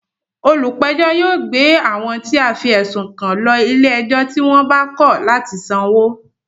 Olùpẹ̀jọ́ yóò gbé àwọn tí a fí ẹ̀sùn kan lọ ilé ẹjọ́ tí wọ́n bá kọ̀ látì sanwó